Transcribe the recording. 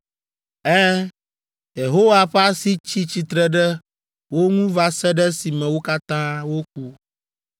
Ɛ̃, Yehowa ƒe asi tsi tsitre ɖe wo ŋu va se ɖe esime wo katã woku.